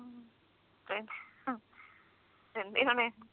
ਦਿੰਦੇ ਹੁਣੇ